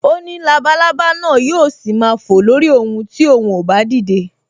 O ní labalábá náà yóò ṣì máa fò lórí òun ti òun ò bá dìde